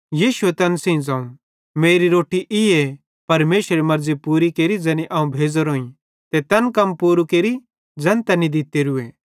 यीशुए तैन सेइं ज़ोवं मेरी रोट्टी ईए कि परमेशरेरी मर्ज़ी पूरी केरि ज़ैनी अवं भेज़ोरोईं ते तैन कम पूरू केरि ज़ैन तैनी दित्तोरूए